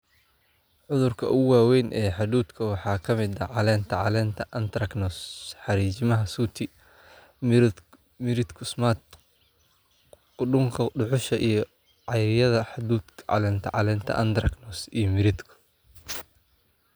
"Cudurka ugu waaweyn ee hadhuudhka waxaa ka mid ah caleenta caleenta, anthracnose, xariijimaha sooty, miridhku, smut, qudhunka dhuxusha iyo caaryada hadhuudhka, caleenta caleenta, anthracnose iyo miridhku."